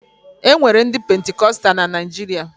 E nwere ndị Pentikọsta na Naịjirịa